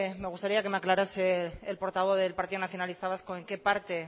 me gustaría que me aclarase el portavoz del partido nacionalista vasco en qué parte